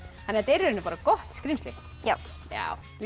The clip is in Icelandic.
í rauninni bara gott skrímsli já líst